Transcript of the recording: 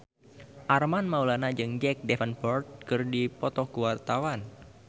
Armand Maulana jeung Jack Davenport keur dipoto ku wartawan